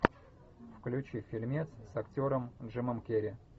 включи фильмец с актером джимом керри